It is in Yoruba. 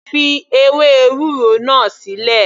Fi ewé ewúro náà sílẹ̀.